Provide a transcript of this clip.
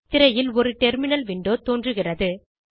திரையில் ஒரு terminal window தோன்றுகிறது